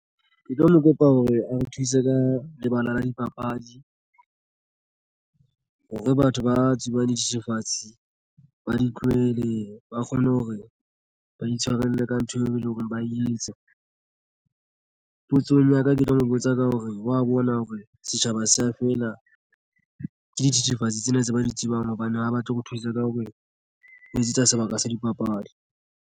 Ke tlo mo kopa hore a re thuse ka lebala la dipapadi. Hore batho ba tsubang dithethefatsi ba di tlohele ba kgone hore ba itshwarele ka ntho eo eleng hore ba etsa potsong ya ka ke tlo mo botsa ka hore wa bona hore setjhaba se ya feela ke dithethefatsi tsena tse ba di tsebang hobane ha batle ho thusa ka hore ho etsetsa sebaka sa dipapadi